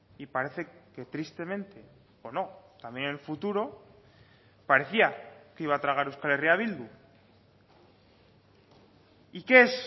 y parece que tristemente o no también en el futuro parecía que iba a tragar euskal herria bildu y qué es